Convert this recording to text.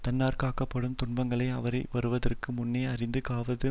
தன்னாற் காக்கப்படும் துன்பங்களை அவை வருவதற்கு முன்னே அறிந்து காவது